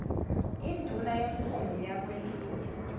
induna yomkhumbi wakwelinye